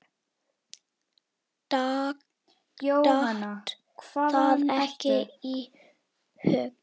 Datt það ekki í hug.